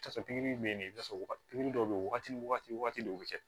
bɛ nin fɔ waa pikiri dɔw bɛ yen wagati ni wagati dɔw bɛ kɛ